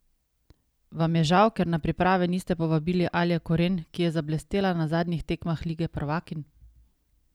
Vam je žal, ker na priprave niste povabili Alje Koren, ki je zablestela na zadnjih tekmah lige prvakinj?